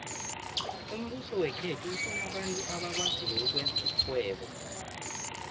umbuso wekhethu ufuna abantu abakwaziko ukwenza irhwebo